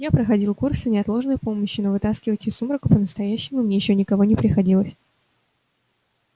я проходил курсы неотложной помощи но вытаскивать из сумрака по-настоящему мне ещё никого не приходилось